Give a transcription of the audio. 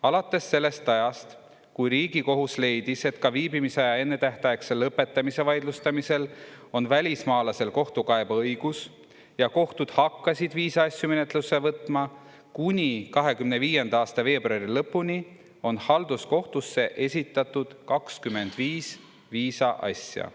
Alates sellest ajast, kui Riigikohus leidis, et ka viibimisaja ennetähtaegse lõpetamise vaidlustamisel on välismaalasel kohtukaebeõigus ja kohtud hakkasid viisa asju menetlusse võtma, kuni 2025. aasta veebruari lõpuni on halduskohtusse esitatud 25 viisa asja.